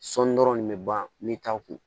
Sɔɔni dɔrɔn de bɛ ban n bɛ taa u kun